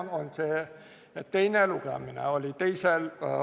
See on see, et teine lugemine oli s.